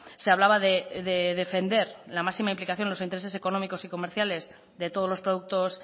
se hablaba de defender la máxima implicación de los intereses económicos y comerciales de todos los productos